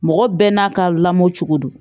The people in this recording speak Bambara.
Mɔgɔ bɛɛ n'a ka lamɔ cogo don